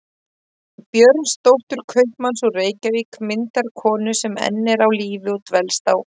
Björnsdóttur kaupmanns úr Reykjavík, myndarkonu sem enn er á lífi og dvelst á